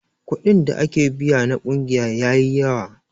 Kuɗin da ake biya na ƙungiya yayi yawa.